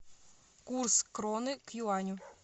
курс кроны к юаню